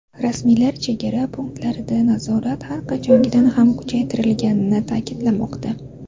Rasmiylar chegara punktlarida nazorat har qachongidan ham kuchaytirilganini ta’kidlamoqda.